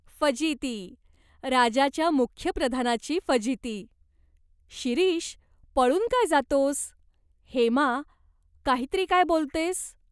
"फजिती, राजाच्या मुख्य प्रधानाची फजिती. शिरीष, पळून काय जातोस ?" "हेमा, काही तरी काय बोलतेस ?